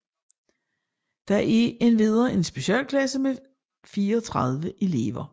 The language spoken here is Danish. Der er endvidere en specialklasse med 34 elever